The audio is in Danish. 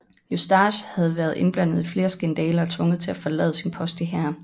Eustache havde været indblandet i flere skandaler og tvunget til at forlade sin post i hæren